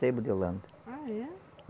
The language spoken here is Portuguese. Sebo de holanda. Ah, é?